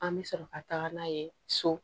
An bɛ sɔrɔ ka taga n'a ye so